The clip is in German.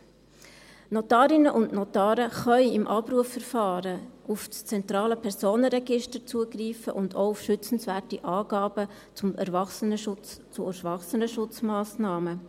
Die Notarinnen und Notare können im Abrufverfahren auf das zentrale Personenregister zugreifen und auch auf schützenswerte Angaben zu Erwachsenenschutzmassnahmen.